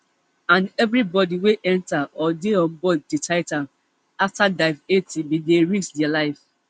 and evribody wey enta or dey onboard di titan afta dive eighty bin dey risk dia life